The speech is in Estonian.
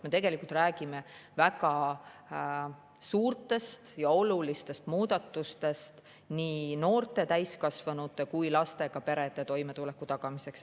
Me tegelikult räägime väga suurtest ja olulistest muudatustest nii noorte täiskasvanute kui ka lastega perede toimetuleku tagamiseks.